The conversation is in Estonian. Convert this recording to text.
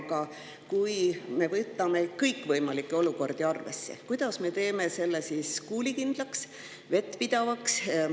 Aga kui me võtame arvesse kõikvõimalikke olukordi, kuidas me teeme selle siis kuulikindlaks, vettpidavaks?